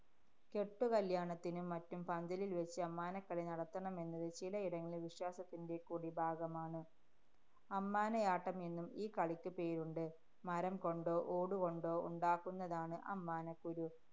കെട്ടുകല്യാണത്തിനും മറ്റും പന്തലില്‍വച്ച് അമ്മാനക്കളി നടത്തണമെന്നത് ചിലയിടങ്ങളില്‍ വിശ്വാസത്തിന്‍റെ കൂടി ഭാഗമാണ്. അമ്മാനയാട്ടം എന്നും ഈ കളിക്ക് പേരുണ്ട്. മരം കൊണ്ടോ ഓടു കൊണ്ടോ ഉണ്ടാക്കുന്നതാണ് അമ്മാനക്കുരു.